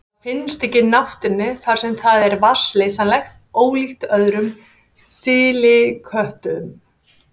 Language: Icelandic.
Það finnst ekki í náttúrunni þar sem það er vatnsleysanlegt, ólíkt öðrum silikötum.